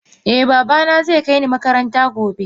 Eh babana zai kai ni makaranta gobe